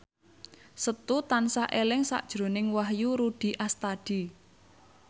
Setu tansah eling sakjroning Wahyu Rudi Astadi